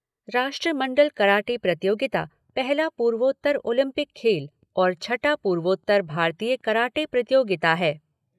राष्ट्रमंडल कराटे प्रतियोगिता पहला पूर्वोत्तर ओलिंपिक खेल और छठी पूर्वोत्तर भारतीय कराटे प्रतियोगिता है।